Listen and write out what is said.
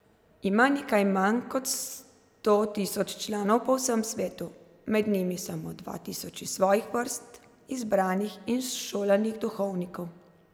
Ima nekaj manj kot sto tisoč članov po vsem svetu, med njimi samo dva tisoč iz svojih vrst izbranih in šolanih duhovnikov.